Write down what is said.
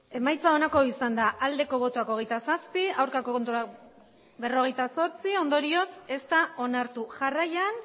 emaitza onako izan da emandako botoak hirurogeita hamabost bai hogeita zazpi ez berrogeita zortzi ondorioz ez da onartu jarraian